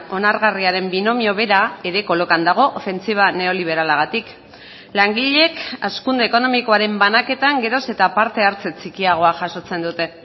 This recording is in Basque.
onargarriaren binomio bera ere kolokan dago ofentsiba neoliberalagatik langileek hazkunde ekonomikoaren banaketan geroz eta parte hartze txikiagoa jasotzen dute